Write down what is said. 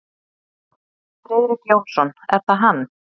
Friðrik Jónsson, er það hann?